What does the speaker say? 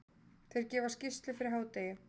Þeir gefa skýrslu fyrir hádegi.